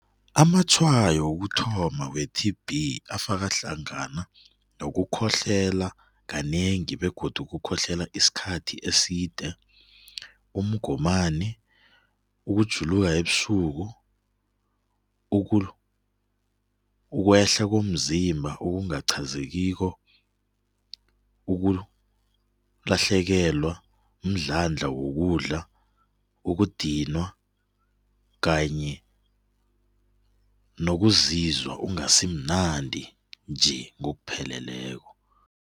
Amatshwayo wokuthoma we-T_B afaka hlangana nokukhohlela kanengi begodu ukukhohlela isikhathi eside, umgomani, ukujuluka ebusuku, ukwehla komzimba okungaqhazekiko, ukulahlekelwa mdlandla wokudlala, ukudinwa kanye nokuzizwa ungasimnandi nje ngokupheleleko.